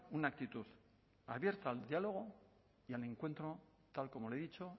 una actitud abierta al diálogo y al encuentro tal como le he dicho